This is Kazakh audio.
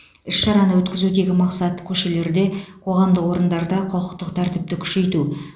іс шараны өткізудегі мақсат көшелерде қоғамдық орындарда құқықтық тәртіпті күшейту